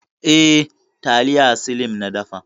Eh, taliya slim na dafa.